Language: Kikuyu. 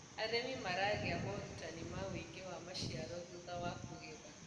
arĩmi maragia morutanĩ ma uigi wa maciaro thutha wa kugetha